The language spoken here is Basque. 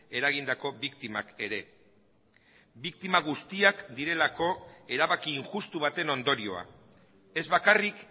eragindako biktimak ere biktima guztiak direlako erabaki injustu baten ondorioa ez bakarrik